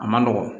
A man nɔgɔn